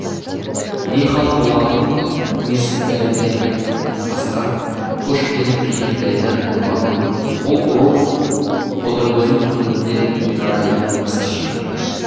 не хал болғанын мен сізге айтайын деп асқар кошкиннің кенжетайды ұрғанын бұл ұру ботагөздің көңілінде жара екенін қысқаша